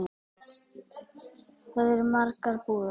Þar eru margar búðir.